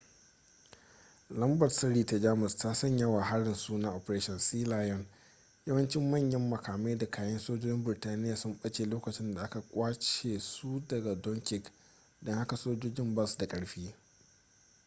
lambar-sirri ta jamus ta sanya wa harin suna operation sealion yawancin manyan makamai da kayan sojojin burtaniya sun ɓace lokacin da aka kwashe su daga dunkirk don haka sojojin ba su da ƙarfi